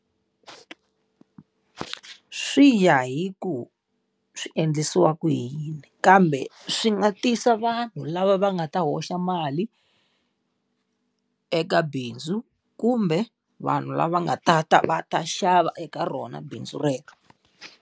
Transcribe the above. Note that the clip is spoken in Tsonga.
Swi ya hi ku swi endlisiwa ku yini, kambe swi nga tisa vanhu lava va nga ta hoxa mali eka bindzu, kumbe vanhu lava nga ta ta va ta xava eka rona bindzu rero.